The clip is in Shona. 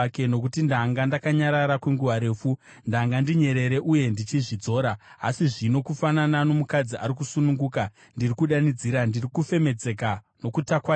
“Nokuti ndanga ndakanyarara kwenguva refu, ndanga ndinyerere uye ndichizvidzora. Asi zvino kufanana nomukadzi ari kusununguka, ndiri kudanidzira, ndiri kufemedzeka nokutakwaira.